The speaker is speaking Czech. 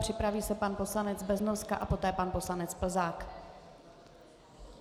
Připraví se pan poslanec Beznoska a poté pan poslanec Plzák.